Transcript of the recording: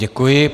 Děkuji.